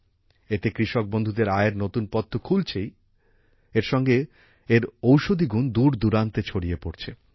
এতে কৃষক বন্ধুদের আয়ের নতুন পথ তো খুলেছেই এর সঙ্গে এর ওষধিগুণ দূর দূরান্তে ছড়িয়ে পড়ছে